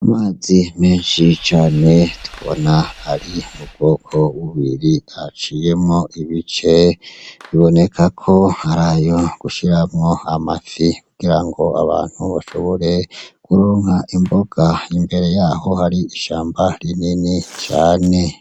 Amazi menshi cane tubona ari mu bwoko bubiri aciyemwo ibice bibonekako arayo gushiramwo amafi kugirango abantu bashobore kuronka imboga imbere yaho hari ishamba rinini cane.